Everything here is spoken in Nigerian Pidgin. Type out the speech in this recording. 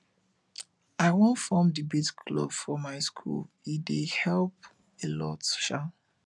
i wan form debate club for my school e dey help a lot um